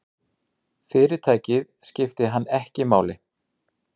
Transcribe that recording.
Fyrirtækið skipti hann ekki máli.